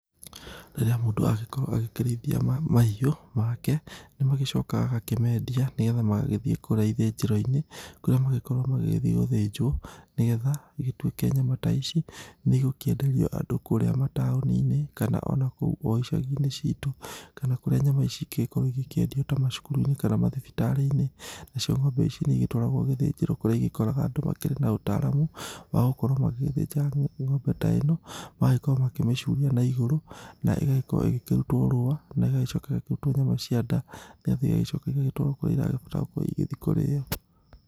Rĩrĩa mũndũ agĩkorwo agĩkĩrĩithia mahiũ make, nĩ magĩcokaga agakĩmendia nĩgetha magagĩthiĩ kũrĩa ithĩnjĩro-inĩ kũrĩa magĩkoragwo magĩthiĩ gũthĩnjwo, nĩgetha igĩtuĩke nyama ta ici nĩ igũkĩenderio andũ kũrĩa mataũni-inĩ kana o na kou o icagi-inĩ citũ, kana kũrĩa nyama ici ingĩkorwo igĩkĩendio ta macukuru-inĩ kana mathibitarĩ-inĩ. Nacio ng'ombe ici nĩ igĩtwaragwo gĩthĩnjĩro kũrĩa igĩkoraga andũ makĩrĩ na ũtaramu, wa gũkorwo magĩgĩthĩnja ng'ombe ta ĩno, magagĩkorwo makĩmĩcuria na igũrũ na igagĩkorwo igĩkĩrutwo rũa na ĩgagĩcoka ĩgakĩrutwo nyama cia nda, nĩgetha igagĩcoka igagĩtwarwo kũrĩa iragĩbatara gũkorwo igĩthiĩ kũrĩo